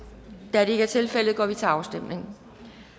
da det ikke er tilfældet går vi til afstemning